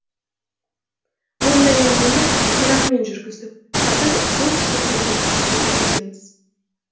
мұндай әңгімені иранмен жүргіздік қазір солтүстік кореямен жүргізудеміз